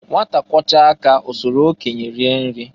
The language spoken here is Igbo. Nwata kwọchaa aka osolu okenye rienri.